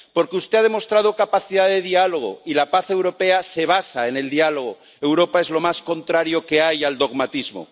Porque usted ha demostrado capacidad de diálogo, y la paz europea se basa en el diálogo. Europa es lo más contrario que hay al dogmatismo.